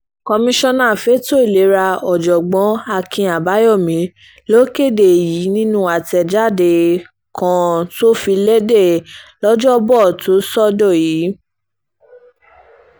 komisanna fẹ̀tọ́ ìlera ọ̀jọ̀gbọ́n akin abayomi ló kéde èyí nínú àtẹ̀jáde kan tó fi léde lọ́jọ́bọ́tòsọdọ̀ẹ́ yìí